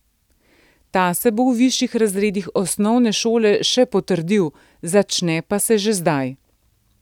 Ta se bo v višjih razredih osnovne šole še potrdil, začne pa se že zdaj.